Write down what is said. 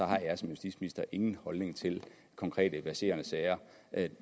har jeg som justitsminister ingen holdning til konkrete verserende sager